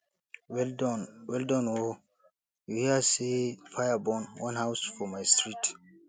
well Accepted well Accepted o you hear sey fire burn one house for my street